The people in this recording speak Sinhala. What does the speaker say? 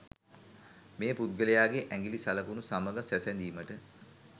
මේ පුද්ගලයාගේ ඇඟිලි සලකුණු සමග සැසඳීමට